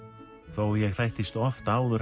þó ég þættist oft áður